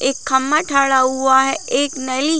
एक खम्बा खड़ा हुआ है एक नाली--